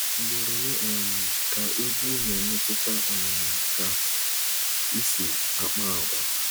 Ugboro ole um ka egwu na-emetụta um ka I si akpa agwa.